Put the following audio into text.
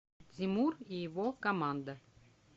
тимур и его команда